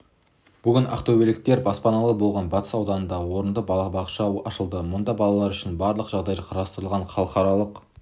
бүгін ақтөбеліктер баспаналы болған батыс ауданында орынды балабақша ашылды мұнда балалар үшін барлық жағдай қарастырылған халықаралық